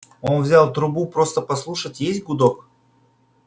он взял трубу просто послушать есть гудок